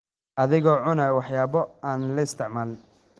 adigoo cunaya waxyaabo aan la isticmaalin.